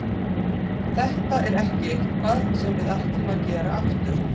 Þetta er ekki eitthvað sem við ætlum að gera aftur.